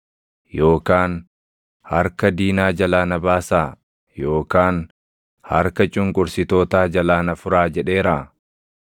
Yookaan, ‘Harka diinaa jalaa na baasaa’ yookaan, ‘Harka cunqursitootaa jalaa na furaa’ jedheeraa?